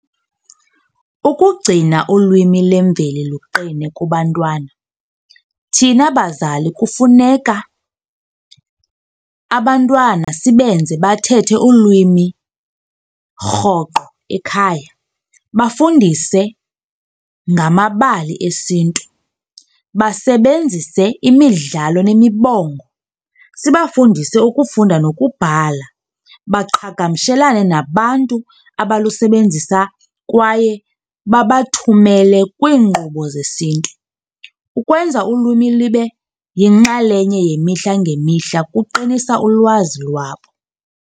Ukugcina ulwimi lwemveli luqine kubantwana thina bazali kufuneka abantwana sibenze bathethe ulwimi rhoqo ekhaya. Bafundise ngamabali esiNtu, basebenzise imidlalo nemibongo. Sibafundise ukufunda nokubhala baqhagamshelane nabantu abalusebenzisa kwaye babathumele kwinkqubo zesiNtu. Ukwenza ulwimi libe yinxalenye yemihla ngemihla kuqinisa ulwazi lwabo.